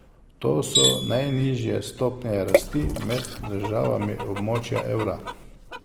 To so najnižje stopnje rasti med državami območja evra.